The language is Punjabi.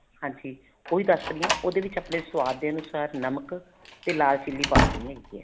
ਹਾਂਜੀ ਉਹ ਵੀ ਦੱਸ ਰਹੀ ਹਾਂ ਉਹਦੇ ਵਿੱਚ ਆਪਣੇ ਸੁਆਦ ਦੇ ਅਨੁਸਾਰ ਨਮਕ ਤੇ ਲਾਲ chili ਪਾ ਦੇਣੀ ਹੈਗੀ ਹੈ